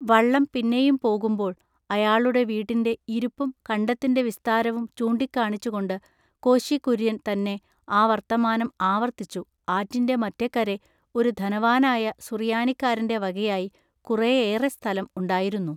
വള്ളം പിന്നെയും പോകുമ്പോൾ ആയാളുടെ വീട്ടിന്റെ ഇരിപ്പും കണ്ടത്തിന്റെ വിസ്താരവും ചൂണ്ടിക്കാണിച്ചുകൊണ്ടു കോശികുൎയ്യൻ തന്നെ ആ വൎത്തമാനം ആവൎത്തിച്ചു ആറ്റിന്റെ മറ്റെക്കരെ ഒരു ധനവാനായ സുറിയാനിക്കാരന്റെ വകയായി കുറെ ഏറെ സ്ഥലം ഉണ്ടായിരുന്നു.